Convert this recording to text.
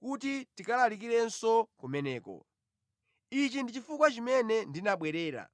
kuti ndikalalikirenso kumeneko. Ichi ndi chifukwa chimene ndinabwerera.”